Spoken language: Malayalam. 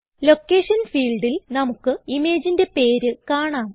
ലൊക്കേഷൻ ഫീൽഡിൽ നമുക്ക് ഇമേജിന്റെ പേര് കാണാം